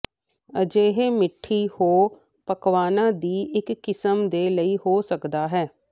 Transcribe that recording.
ਅਜਿਹੇ ਮਿੱਠੀ ਹੋ ਪਕਵਾਨਾ ਦੀ ਇੱਕ ਕਿਸਮ ਦੇ ਲਈ ਹੋ ਸਕਦਾ ਹੈ